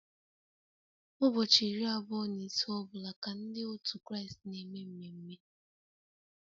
Ụbọchị iri abụọ na ise ọ bụla ka Ndị otu Kraịst na-eme mmeme